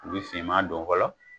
U bɛ finman don fɔlɔ